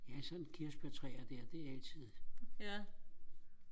ja sådan kirsebærtræer der det er altid